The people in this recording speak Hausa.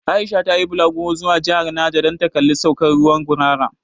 Aisha ta yi bulaguro zuwa jihar Naja dan ta kalli saukan ruwan 'Gurara'.